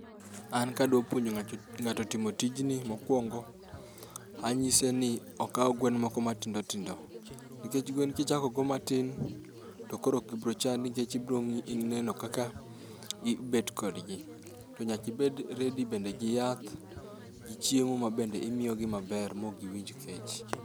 An kadwa puonjo ng'ato timo tijni mokuongo anyise ni okaw gwen moko matindo tindo. Nikech gwen kichago go matin to ok gibi chandi nikech ibiro neno kaka ibet kodgi. To nyaka ibed [cs[ready bende gi yath gi chiemo bende ma imiyogi maber maok giwinj kech.